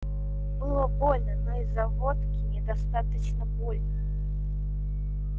было больно но из-за водки недостаточно больно